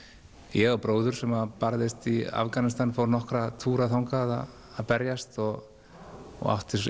ég á bróður sem barðist í Afganistan fór nokkra túra þangað að berjast og átti